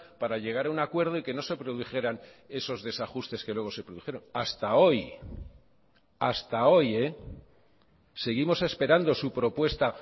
para llegar a un acuerdo y que no se produjeran esos desajustes que luego se produjeron hasta hoy hasta hoy seguimos esperando su propuesta